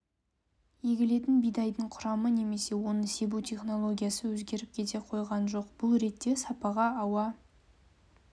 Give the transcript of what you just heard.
егілетін бидайдың құрамы немесе оны себу технологиясы өзгеріп кете қойған жоқ бұл ретте сапаға ауа